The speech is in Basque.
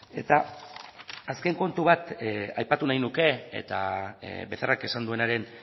eta azken kontu bat aipatu nahi nuke eta becerrak esan duenaren